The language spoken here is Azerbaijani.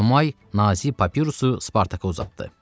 Enomay nazik papirusu Spartaka uzatdı.